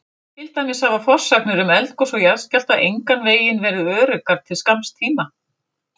Til dæmis hafa forsagnir um eldgos og jarðskjálfta engan veginn verið öruggar til skamms tíma.